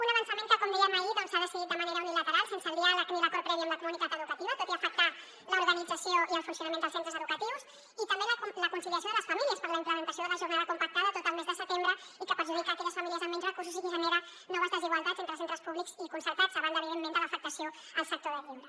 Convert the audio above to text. un avançament que com dèiem ahir doncs s’ha decidit de manera unilateral sense el diàleg ni l’acord previ amb la comunitat educativa tot i afectar l’organització i el funcionament dels centres educatius i també la conciliació de les famílies per a la implementació de la jornada compactada tot el mes de setembre i que perjudica aquelles famílies amb menys recursos i que genera noves desigualtats entre centres públics i concertats a banda evidentment de l’afectació al sector del lleure